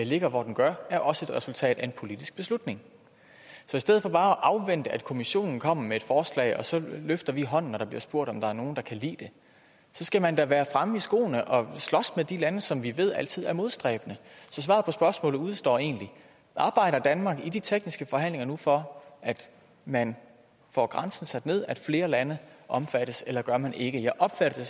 ligger hvor den gør er også et resultat af en politisk beslutning så i stedet for bare at afvente at kommissionen kommer med et forslag og så løfter vi hånden når der bliver spurgt om der er nogle der kan lide det så skal man da være fremme i skoene og slås med de lande som vi ved altid er modstræbende så svaret på spørgsmålet udestår egentlig arbejder danmark i de tekniske forhandlinger nu for at man får grænsen sat ned at flere lande omfattes eller gør man ikke jeg opfatter